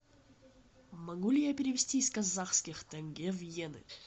могу ли я перевести из казахских тенге в йены